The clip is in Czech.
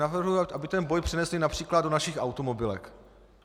Navrhuji, aby ten boj přenesli například do našich automobilek.